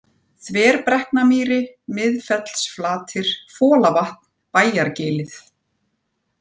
Þverbrekknamýri, Miðfellsflatir, Folavatn, Bæjargilið